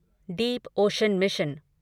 Deep ocean mission